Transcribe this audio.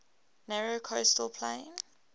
narrow coastal plain